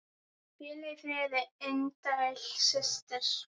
Hvíl í friði indæl systir.